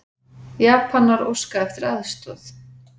Japanar óska eftir aðstoð